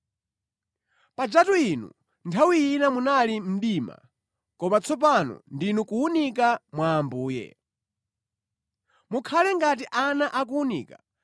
Pajatu inu nthawi ina munali mdima, koma tsopano ndinu kuwunika mwa Ambuye. Mukhale ngati ana akuwunika